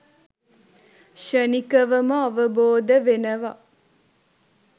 ක්ෂණිකවම අවබෝධ වෙනව